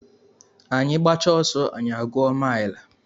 Anyị gbachaa ọsọ anyị a gụọ mile